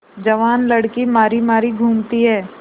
जवान लड़की मारी मारी घूमती है